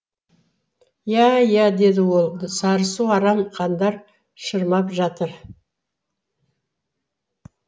иә иә деді ол сарысу арам қандар шырмап жатыр